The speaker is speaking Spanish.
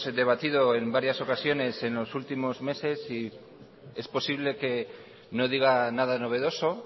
debatido en varios ocasiones en los últimos meses y es posible que no diga nada novedoso